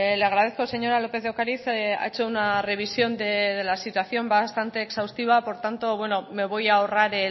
le agradezco señora lópez de ocariz ha hecho una revisión de la situación bastante exhaustiva por tanto me voy a ahorrar